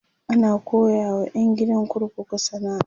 ana koyawa ƴan gidan kurkuku sana'a